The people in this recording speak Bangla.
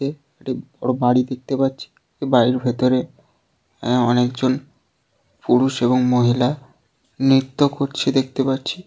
বড়োও বাড়িই দেখতে পাচ্ছি বাড়ির ভেতরে আ অনেকজন পুরুষ এবং মহিলা নৃত্য কোরছে দেখতে পারছি।